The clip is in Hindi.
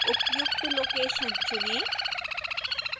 उपयुक्त लोकेशन चुनें